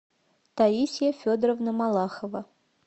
таисья федоровна малахова